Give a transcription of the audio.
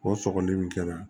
O sɔgɔli min kɛra